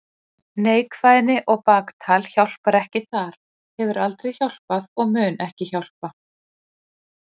Neikvæðni og baktal hjálpar ekki þar, hefur aldrei hjálpað og mun ekki hjálpa.